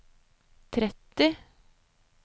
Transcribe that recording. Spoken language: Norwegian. tretti